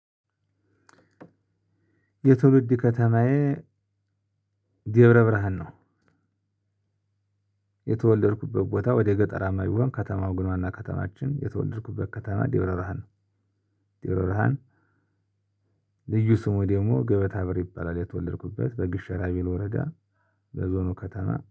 የትውልድ ከተማዬ ደብረ ብርሃን ነው። የተወለድኩበት ቦታ ወደ ገጠራማ ቢሆን ከተማው ግን ዋና ከተማችን የተወለድኩበት ከተማ ደብረብርሃን ደብረ ብርሃን ልዩ ስሙ ደግሞ ገበታ ብር ይባላል። የተወለድኩበት በግሸራቢኖ ወረዳ በዞኑ ከተማ